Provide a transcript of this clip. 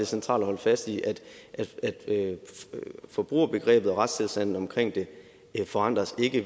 centralt at holde fast i at forbrugerbegrebet og retstilstanden omkring det ikke forandres